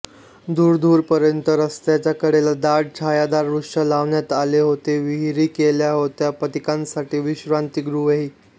दूरदूरपर्यंत रस्त्यांच्या कडेला दाट छायादार वृक्ष लावण्यात आले होते विहिरी केल्या होत्या पथिकांसाठी विश्रांतीगृहे